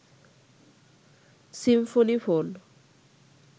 Symphony phone